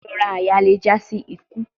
Irora àyà le ja si iku